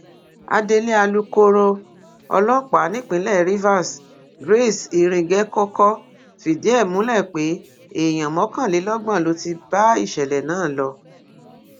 adelé alūkkoro ọlọpàá nípínlẹ rivers grace iringekọkọ fìdí ẹ múlẹ pé èèyàn mọkànlélọgbọn ló ti bá ìṣẹlẹ náà lọ